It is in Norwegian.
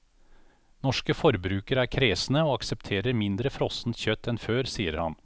Norske forbrukere er kresne, og aksepterer mindre frossent kjøtt enn før, sier han.